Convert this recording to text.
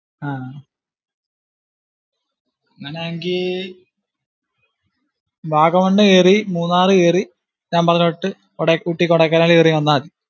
ആഹ് അങ്ങിനെ എങ്കിൽ വാഗമണ് കേറി, മൂന്നാർ കറി, ഞാൻ പറഞ്ഞ കൂട്ട് ഊട്ടി, കൊടൈക്കനാല് കേറി വന്നാ മതി.